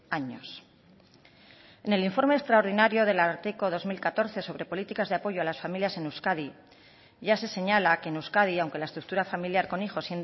años en el informe extraordinario del ararteko dos mil catorce sobre políticas de apoyo a las familias en euskadi ya se señala que en euskadi aunque la estructura familiar con hijos